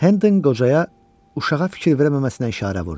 Hend qocaya uşağa fikir verəməməsinə işarə vurdu.